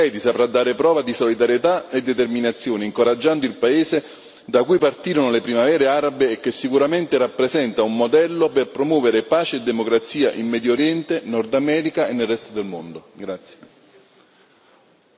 In questo modo l'Europa, con atti concreti, saprà dare prova di solidarietà e determinazione, incoraggiando il paese da cui partirono le primavere arabe e che sicuramente rappresenta un modello per promuovere pace e democrazia in Medio Oriente, Nord America e nel resto del mondo.